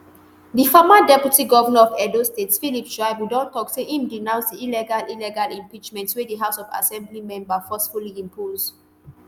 di former deputy govnor of edo state philip shaibu don tok say im denounce di illegal illegal impeachment wey di house of assembly member forcefully impose